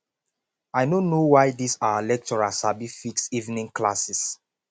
i no know why dis our lecturer sabi fix evening classes